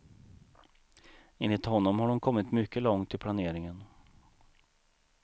Enligt honom har de kommit mycket långt i planeringen.